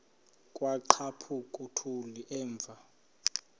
kwaqhaphuk uthuli evuma